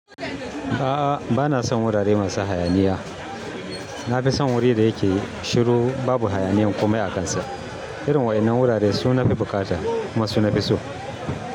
A'a, bana son wurare masu hayaniya. Nafi son wuri da yake shiru babu hayaniyan komai a kansa. Irin waɗannan wurare suna fi bukata kuma su nafi so.